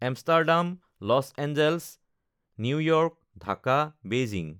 Amsterdam, Los Angeles, New York, Dhaka, Beijing